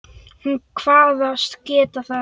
Hún kvaðst geta það.